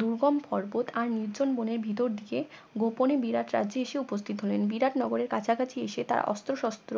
দূর্গম পর্বত আর নির্জন বনের ভিতর দিয়ে গোপনে বিরাট রাজ্যে এসে উপস্থিত হলেন বিরাট নগরের কাছাকাছি এসে তারা অস্ত্র সস্ত্র